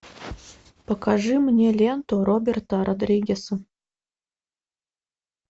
покажи мне ленту роберта родригеса